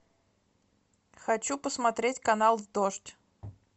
хочу посмотреть канал дождь